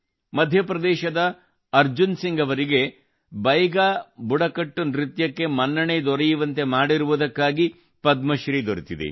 ಮಧ್ಯಪ್ರದೇಶದ ಅರ್ಜುನ್ ಸಿಂಗ್ ಅವರಿಗೆ ಬೈಗಾ ಬುಡಕಟ್ಟು ನೃತ್ಯಕ್ಕೆ ಮನ್ನಣೆ ದೊರೆಯುವಂತೆ ಮಾಡಿರುವುದಕ್ಕಾಗಿ ಪದ್ಮಶ್ರೀ ದೊರೆತಿದೆ